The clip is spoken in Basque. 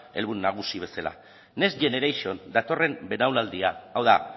helburu nagusi bezala next generation datorren belaunaldia hau da